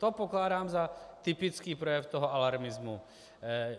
To pokládám za typický projev toho alarmismu.